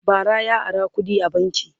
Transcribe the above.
bara ya Ara kuɗi a banki